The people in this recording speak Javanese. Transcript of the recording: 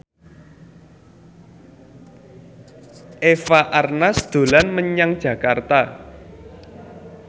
Eva Arnaz dolan menyang Jakarta